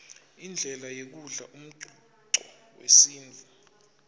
indlela yekudlala umcuco wesintfu